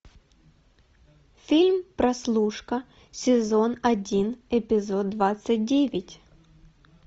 фильм прослушка сезон один эпизод двадцать девять